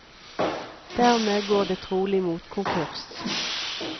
Dermed går det trolig mot konkurs.